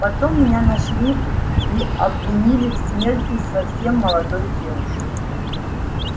потом меня нашли и обвинили в смерти совсем молодой девушки